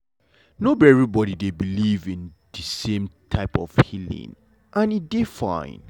no be everybody dey believe in de same type of healing and e dey fine.